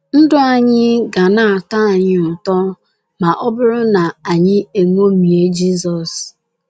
Ndụ anyị ga na - atọ anyị ụtọ ma ọ bụrụ na anyị eṅomie Jizọs!